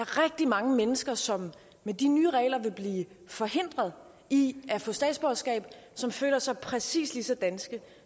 rigtig mange mennesker som med de nye regler vil blive forhindret i at få statsborgerskab som føler sig præcis lige så danske